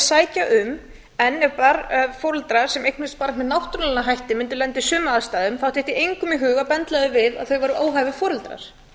sækja um en ef foreldrar sem eignast barn með náttúrulegum hætti mundi lenda í sömu aðstæðum þá dytti engum í hug að benda þeim við að þeir væru óhæfir foreldrar